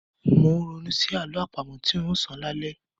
Mò ń ronú sí àlọ́ àpamọ tí ń óò sọ lálẹ́.